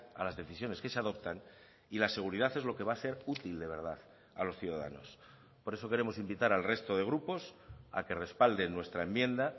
a las decisiones que se adoptan y la seguridad es lo que va a ser útil de verdad a los ciudadanos por eso queremos invitar al resto de grupos a que respalden nuestra enmienda